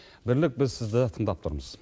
бірлік біз сізді тыңдап тұрмыз